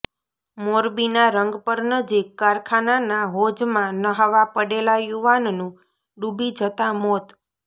મોરબીના રંગપર નજીક કારખાનાના હોજમાં ન્હાવા પડેલા યુવાનનું ડૂબી જતાં મોત